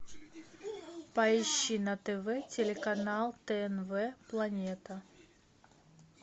поищи на тв телеканал тнв планета